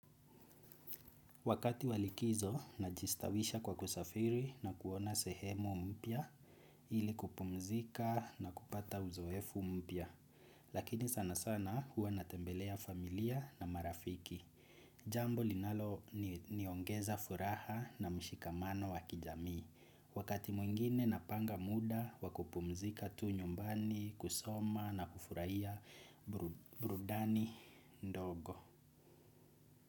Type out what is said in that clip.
Wakati wa likizo najistawisha kwa kusafiri na kuona sehemu mpya ili kupumzika na kupata uzoefu mpya. Lakini sana sana huwa natembelea familia na marafiki. Jambo linaloniongeza furaha na mshikamano wa kijami. Wakati mwingine napanga muda wa kupumzika tu nyumbani kusoma na kufurahia burudani ndogo.